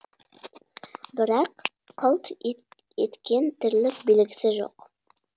бірақ қылт еткен тірлік белгісі жоқ